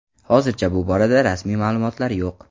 Hozircha bu borada rasmiy ma’lumotlar yo‘q.